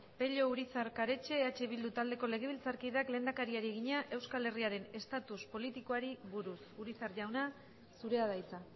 pello urizar karetxe eh bildu taldeko legebiltzarkideak lehendakariari egina euskal herriaren estatus politikoari buruz urizar jauna zurea da hitza